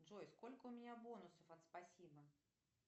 джой сколько у меня бонусов от спасибо